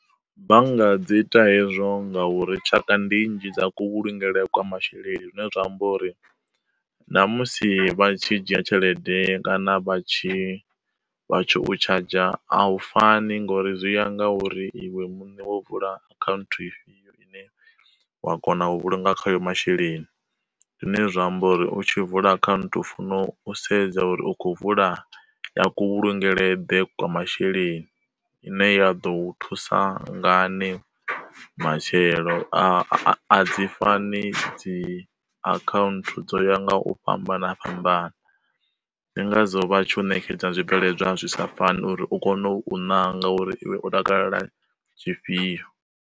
Bannga dzi ita hezwo ngauri tshaka ndi nnzhi dza ku vhulungele kwa masheleni zwine zwa amba uri, na musi vha tshi dzhia tshelede kana vha tshi vha tsho tshadzha, a hu fani ngori zwi ya nga uri iwe muṋe wo vula akhaunthu ifhio ine wa kona u vhulunga khayo masheleni. Zwine zwa amba uri u tshi vula akhaunthu u funo u sedza uri u khou vula ya ku vhulungelwe ḓe kwa masheleni ine ya ḓo thusa ngani matshelo, a a dzi fani dzi akhaunthu dzo ya nga u fhambana fhambana. Ndingazwo vha tshi u ṋekedza zwi bveledzwa zwi sa fani uri u kone u nanga uri iwe u takalela ifhio.